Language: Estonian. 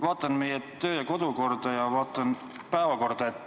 Vaatan meie kodu- ja töökorda ja vaatan päevakorda.